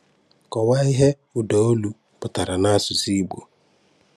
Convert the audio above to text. Kọ̀wáa íhè ụ̀dàólù pụ̀tàrà n'àsụ̀sụ̀ Ìgbò.